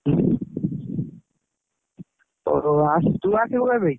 ହଉ ତୁ ଆସିବୁ କେବେ?